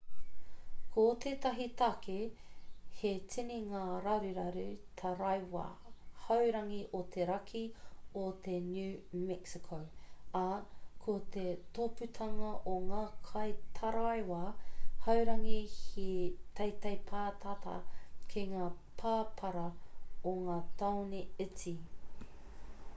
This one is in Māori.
ko tētahi take he tini ngā raruraru taraiwa haurangi o te raki o te new mexico ā ko te tōpūtanga o ngā kaitaraiwa haurangi he teitei pātata ki ngā pāpara o ngā tāone iti